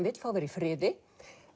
vill fá að vera í friði